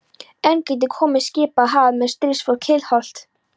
Enn gætu komið skip af hafi með stríðsfólk hliðhollt Hólamönnum.